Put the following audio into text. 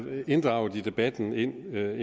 inddraget i debatten indtil nu